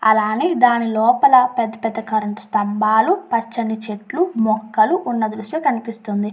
అలానే దాని లోపల పెద్ద పెద్ద కరెంటు స్థంబాలు పచ్చని చెట్లు మొక్కలు ఉన్న దృశ్యం కనిపిస్తున్నది.